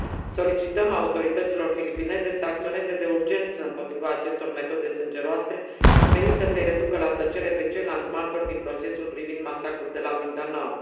Solicităm autorităților filipineze să acționeze de urgență împotriva acestor metode sângeroase, menite să îi reducă la tăcere pe ceilalți martori din procesul privind masacrul de la Maguindanao.